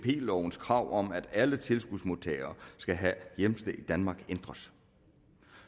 lovens krav om at alle tilskudsmodtagere skal have hjemsted i danmark ændres